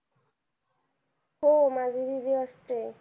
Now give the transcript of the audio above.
हो माझी दीदी असते.